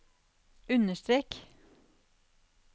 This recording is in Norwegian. understrek